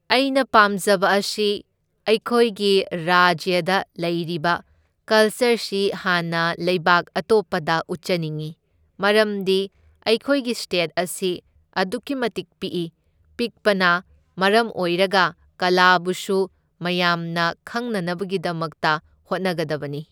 ꯑꯩꯅ ꯄꯥꯝꯖꯕ ꯑꯁꯤ ꯑꯩꯈꯣꯏꯒꯤ ꯔꯥꯖ꯭ꯌꯗ ꯂꯩꯔꯤꯕ ꯀꯜꯆꯔꯁꯤ ꯍꯥꯟꯅ ꯂꯩꯕꯥꯛ ꯑꯇꯣꯞꯄꯗ ꯎꯠꯆꯅꯤꯡꯏ, ꯃꯔꯝꯗꯤ ꯑꯩꯈꯣꯏꯒꯤ ꯁ꯭ꯇꯦꯠ ꯑꯁꯤ ꯑꯗꯨꯛꯀꯤ ꯃꯇꯤꯛ ꯄꯤꯛꯏ, ꯄꯤꯛꯄꯅ ꯃꯔꯝ ꯑꯣꯏꯔꯒ ꯀꯂꯥꯕꯨꯁꯨ ꯃꯌꯥꯝꯅ ꯈꯪꯅꯅꯕꯒꯤꯗꯃꯛꯇ ꯍꯣꯠꯅꯒꯗꯕꯅꯤ꯫